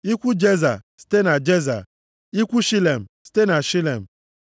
ikwu Jeza, site na Jeza, ikwu Shilem, site na Shilem.